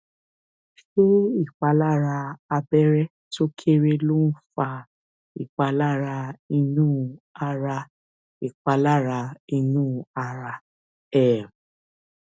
ṣé ìpalára abẹrẹ tó kéré ló ń fa ìpalára inú ara ìpalára inú ara um